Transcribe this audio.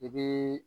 I bii